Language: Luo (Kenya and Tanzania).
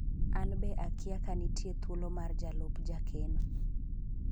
anbe akia ka nitie thuolo mar jalup jakeno